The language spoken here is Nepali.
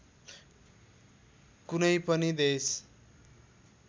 कुनै पनि देश